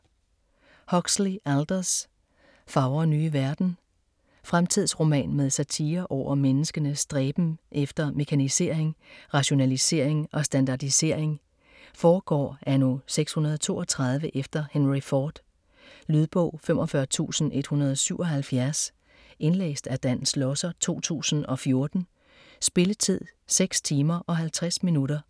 Huxley, Aldous: Fagre nye verden Fremtidsroman med satire over menneskenes stræben efter mekanisering, rationalisering og standardisering. Foregår anno 632 efter Henry Ford. Lydbog 45177 Indlæst af Dan Schlosser, 2014. Spilletid: 6 timer, 50 minutter.